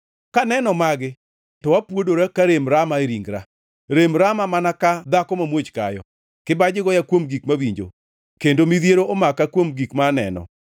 Kaneno magi to apuodora ka rem rama e ringra, rem rama mana ka dhako mamuoch kayo; kibaji goya kuom gik mawinjo kendo midhiero omaka kuom gik ma aneno.